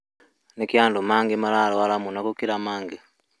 nĩkĩĩ andũ angĩ mararwara mũno gũkĩra angĩ?